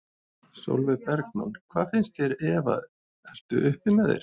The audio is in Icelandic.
Sólveig Bergmann: Hvað finnst þér Eva ertu uppi með þér?